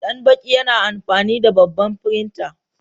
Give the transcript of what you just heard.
Danbaki yana amfani da babban firinta.